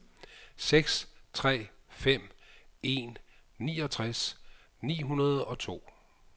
seks tre fem en niogtres ni hundrede og to